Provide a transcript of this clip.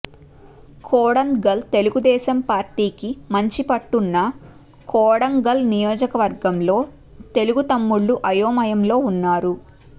కొడంగల్ః తెలుగుదేశం పార్టీకి మంచి పట్టున్న కొడంగల్ నియోజకవర్గంలో తెలుగుతమ్ముళ్లు అయోమయంలో ఉన్నారు